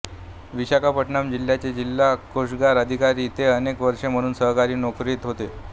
विशाखापट्टणम् जिल्ह्याचे जिल्हा कोषागार अधिकारी ते अनेक वर्षे म्हणून सरकारी नोकरीत होते